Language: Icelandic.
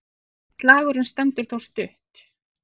Slagurinn stendur þó stutt.